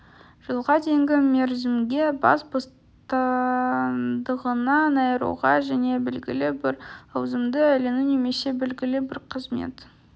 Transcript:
жылға дейінгі мерзімге бас бостандығынан айыруға және белгілі бір лауазымды иелену немесе белгілі бір қызмет